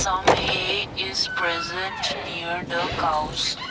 Some haey is present near the cows.